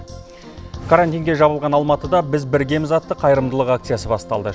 карантинге жабылған алматыда біз біргеміз атты қайырымдылық акциясы басталды